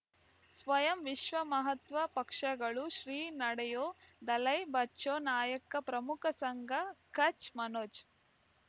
ಸ್ವಯಂ ವಿಶ್ವ ಮಹಾತ್ವ ಪಕ್ಷಗಳು ಶ್ರೀ ನಡೆಯೋ ದಲೈ ಬಚೌ ನಾಯಕ ಪ್ರಮುಖ ಸಂಘ ಕಚ್ ಮನೋಜ್